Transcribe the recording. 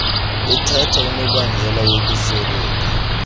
ethatha unobangela wokusweleka